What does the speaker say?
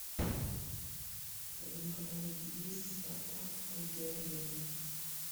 в твоем каталоге есть спартак боги арены